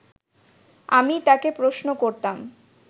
আমি তাকে প্রশ্ন করতাম